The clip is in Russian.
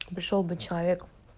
пришёл бы человек